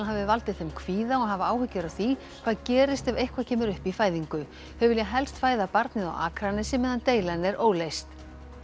hafi valdið þeim kvíða og hafa áhyggjur af því hvað gerist ef eitthvað kemur upp í fæðingu þau vilja helst fæða barnið á Akranesi meðan deilan er óleyst